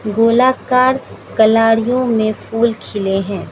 गोलाकार कलाड़ियों में फूल खिले हैं।